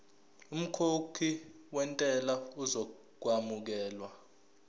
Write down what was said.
umkhokhi wentela uzokwamukelwa